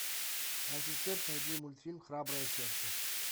ассистент найди мультфильм храброе сердце